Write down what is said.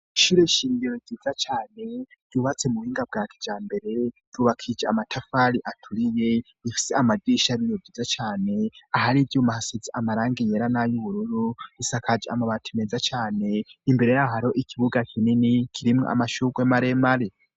Ishure shingiro ryiza cane, ryubatse mu buhinga bwa kijambere ryubakishije amatafari aturiye. Rifise amadirisha y'ibiyo vyiza cane ahari ivyuma hasize amarangi yera n'ayubururu, isakaje amabati meza cane, imbere yaho ikibuga kinini kirimwo amashugwe maremare.